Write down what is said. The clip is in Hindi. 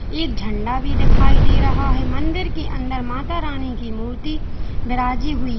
एक झंडा भी दिखाई दे रहा है मंदिर के अंदर माता रानी की मूर्ति बिराजी हुई--